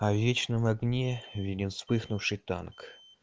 а в вечном огне виден вспыхнувший танк